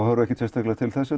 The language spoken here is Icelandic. horfi ekkert sérstaklega til þess